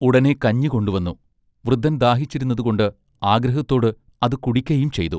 ഉടനെ കഞ്ഞികൊണ്ടുവന്നു. വൃദ്ധൻ ദാഹിച്ചിരുന്നത് കൊണ്ട് ആഗ്രഹത്തോട് അതു കുടിക്കയും ചെയ്തു.